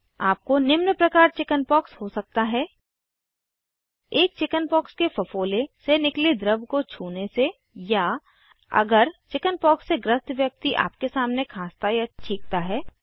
आपको निम्न प्रकार चिकिन्पॉक्स हो सकता है एक चिकिन्पाक्स के फफोले से निकले द्रव को छूने से या अगर चिकिन्पॉक्स से ग्रस्त व्यक्ति आपके सामने खाँसता या छींकता है